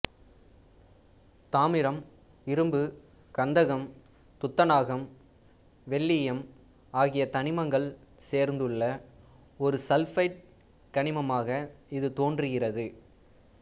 தாமிரம் இரும்பு கந்தகம் துத்தநாகம் வெள்ளீயம் ஆகிய தனிமங்கள் சேர்ந்துள்ள ஒரு சல்பைடு கனிமமாக இது தோன்றுகிறது